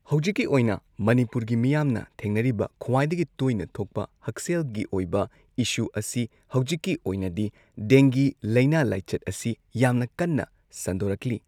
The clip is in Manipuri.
ꯍꯧꯖꯤꯛꯀꯤ ꯑꯣꯏꯅ ꯃꯅꯤꯄꯨꯔꯒꯤ ꯃꯤꯌꯥꯝꯅ ꯊꯦꯡꯅꯔꯤꯕ ꯈ꯭ꯋꯥꯏꯗꯒꯤ ꯇꯣꯏꯅ ꯊꯣꯛꯄ ꯍꯛꯁꯦꯜ ꯒꯤ ꯑꯣꯏꯕ ꯏꯁꯨ ꯑꯁꯤ ꯍꯧꯖꯤꯛꯀꯤ ꯑꯣꯏꯅꯗꯤ ꯗꯦꯡꯒꯤ ꯂꯩꯅꯥ ꯂꯥꯏꯆꯠ ꯑꯁꯤ ꯌꯥꯝꯅ ꯀꯟꯅ ꯁꯟꯗꯣꯔꯛꯂꯤ꯫